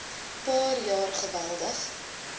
paar jaar geweldig